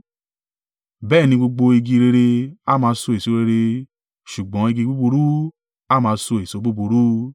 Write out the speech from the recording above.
Bẹ́ẹ̀ ni gbogbo igi rere a máa so èso rere ṣùgbọ́n igi búburú a máa so èso búburú.